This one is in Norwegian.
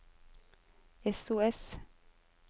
sos